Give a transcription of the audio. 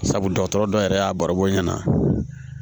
Sabu dɔgɔtɔrɔ dɔ yɛrɛ y'a baroko ɲɛna